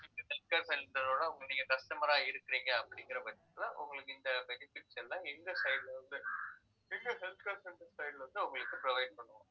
எங்க health care centre ஒட நீங்க customer ஆ இருக்கிறீங்க அப்படிங்கிற பட்சத்துல உங்களுக்கு இந்த benefits எல்லாம் எங்க side ல health care centre side ல வந்து உங்களுக்கு provide பண்ணுவாங்க